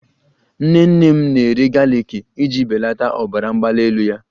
Nnene m na-eri galiki iji belata ọbara mgbali elu ya